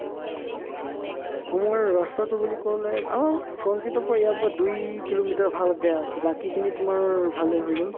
আমাৰ ৰাস্তাতো বুলি ক'লে আম্ forest gate ৰ পৰা ইয়াৰ পৰা দুই কিলোমিটাৰ ভাল বেয়া আছে বাকিখিনি তোমাৰ ভালে হৈ গ'ল